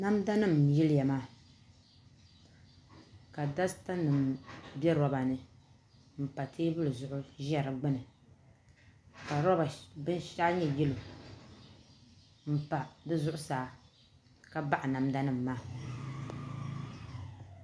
Namdanima n-yiliya maa ka dasitanima be roba ni m-pa teebuli zuɣu ʒe di gbuni ka binshɛɣu nyɛ yello m-pa di zuɣusaa ka baɣa namda nima maa